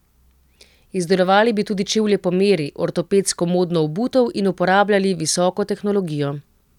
Izdelovali bi tudi čevlje po meri, ortopedsko modno obutev in uporabljali visoko tehnologijo.